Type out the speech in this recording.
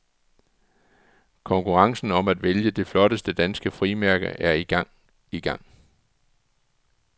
Konkurrencen om at vælge det flotteste danske frimærke er igangi gang.